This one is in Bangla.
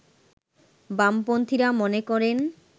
বামপন্থীরা মনে করেন